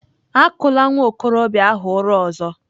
Akụla nwa okorobịa ahụ ụra ọzọ!